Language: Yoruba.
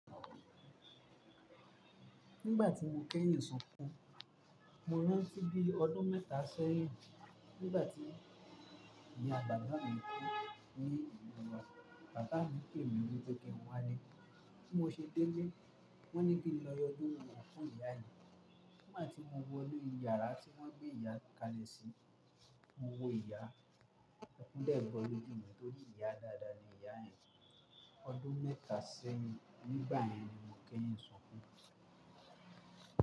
Nígbà tí mo kẹ́yìn sunkún, mo rántí bì ọdún mẹ́ta sẹ́yìn. Nígbà tí ìyá bàbà mì kú ní ìlu wà, bàbá mi pé mi wípé kí n wá le. Bí mo ṣe délé, wọ́n ní kí n lọ ọdún wọn fún ìyá mi. Nígbà tí mo wọ inú yàrá tí wọ́n gbé ìyá ka lè sí, mo wo ìyá. Ẹkùn dẹ́n bọ loju mi tó rí ìyá dáadáa ni ìyá yen. Ọdún mẹ́ta sẹ́yìn, nígbà yẹn ni mo kẹ́yìn sunkún.